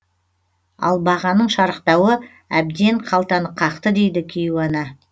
ал бағаның шарықтауы әбден қалтаны қақты дейді кейуана